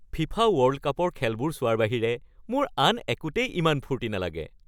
FIFA world কাপৰ খেলবোৰ চোৱাৰ বাহিৰে মোৰ আন একোতেই ইমান ফূৰ্তি নালাগে।